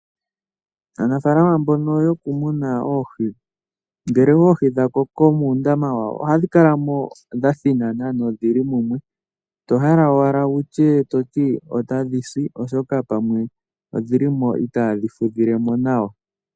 Aanafaalama mbono yokumuna oohi, ngele oohi dha koko mundama ohadhi kalamo dha thinana nodhili mumwe to hala owala wutye otadhi si oshoka pamwe odhili mo itaadhi fudhilemo nawa.